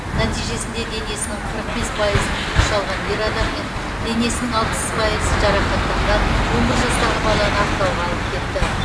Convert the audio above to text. нәтижесінде денесінің қырық бес пайызын күйік шалған ер адам мен денесінің алпыс пайызы жарақаттанған он бір жастағы баланы ақтауға алып кетті